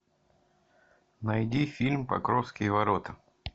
найди фильм покровские ворота